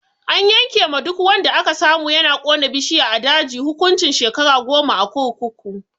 An yanke ma duk wanda aka samu yana kona bishiya a daji hukuncin shekaru goma a kurkuku.